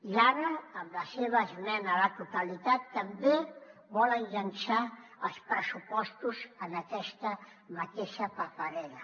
i ara amb la seva esmena a la totalitat també volen llençar els pressupostos en aquesta mateixa paperera